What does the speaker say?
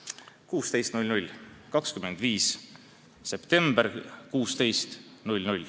See on 16.00. 25. september kell 16.00.